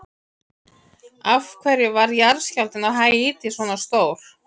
Af hverju varð jarðskjálftinn á Haítí svona stór?